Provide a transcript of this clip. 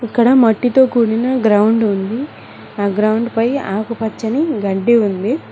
ఇక్కడ మట్టితో కూడిన గ్రౌండ్ ఉంది ఆ గ్రౌండ్ పై ఆకుపచ్చని గడ్డి ఉంది.